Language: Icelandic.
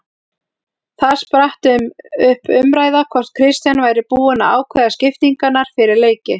Þar spratt um umræða hvort Kristján væri búinn að ákveða skiptingarnar fyrir leiki.